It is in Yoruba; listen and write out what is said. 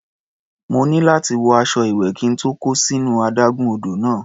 Mo ní láti wọ aṣọ ìwẹ̀ kí n tó kó sínú adágún odò náà.